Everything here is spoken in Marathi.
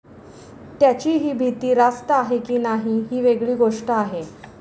त्यांची ही भीती रास्त आहे की नाही ही वेगळी गोष्ट आहे.